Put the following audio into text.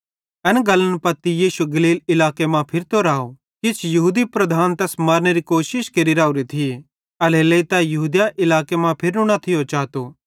एना गल्लन पत्ती यीशु गलील इलाके मां फिरतो राव किजोकि यहूदी लीडर तैस मारनेरी कोशिश केरि राओरे थिये एल्हेरेलेइ तै यहूदिया इलाके मां फिरनू न चातो थियो